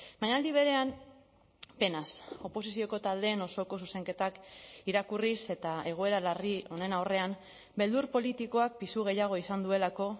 baina aldi berean penaz oposizioko taldeen osoko zuzenketak irakurriz eta egoera larri honen aurrean beldur politikoak pisu gehiago izan duelako